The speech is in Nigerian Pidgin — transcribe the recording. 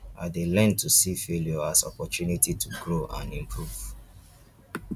i dey learn to see failure as opportunity to grow and improve